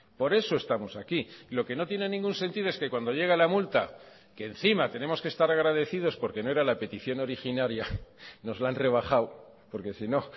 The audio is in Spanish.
por eso estamos aquí lo que no tiene ningún sentido es que cuando llega la multa que encima tenemos que estar agradecidos porque no era la petición originaria nos la han rebajado porque si no